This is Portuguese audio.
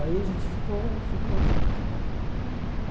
Aí a gente ficou, ficou junto, né? Uhum.